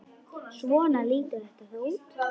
Svona lítur þetta þá út.